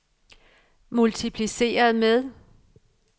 multipliceret med